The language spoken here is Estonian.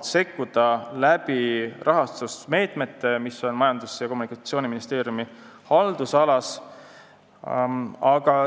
sekkuda rahastusmeetmetega, mis on Majandus- ja Kommunikatsiooniministeeriumi haldusalas.